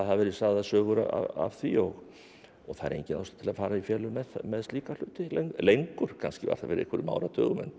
verið sagðar sögur af því og engin ástæða til að fara í felur með slíka hluti lengur kannski var það fyrir einhverjum áratugum en